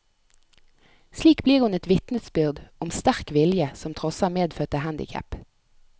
Slik blir hun et vitnesbyrd om sterk vilje som trosser medfødte handicap.